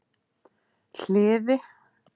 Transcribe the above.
Hliði